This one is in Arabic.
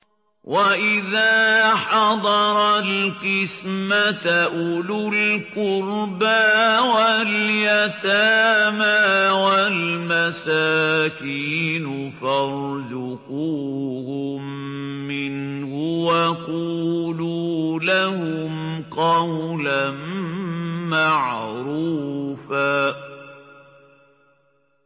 وَإِذَا حَضَرَ الْقِسْمَةَ أُولُو الْقُرْبَىٰ وَالْيَتَامَىٰ وَالْمَسَاكِينُ فَارْزُقُوهُم مِّنْهُ وَقُولُوا لَهُمْ قَوْلًا مَّعْرُوفًا